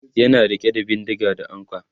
yana rike da bindinga da ankwa